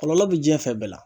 Kɔlɔlɔ bɛ diɲɛ fɛn bɛɛ la